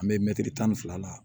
An bɛ mɛtiri tan ni fila la